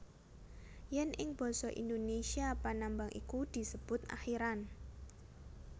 Yen ing basa Indonesia panambang iku disebut akhiran